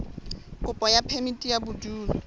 kopo ya phemiti ya bodulo